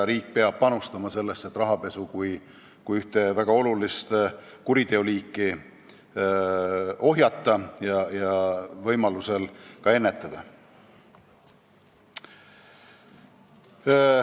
Riik peab panustama sellesse, et rahapesu kui ühte väga olulist kuriteoliiki ohjeldada ja võimalusel ka ennetada.